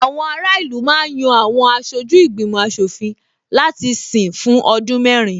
Àwọn ará ìlú ma ń yan Àwọn aṣojú ìgbìmò aṣòfin láti sìn fún ọdún mẹ́rin